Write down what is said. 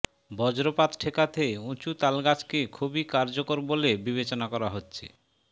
বজ্রপাত ঠেকাতে উঁচু তালগাছকে খুবই কার্যকর বলে বিবেচনা করা হচ্ছে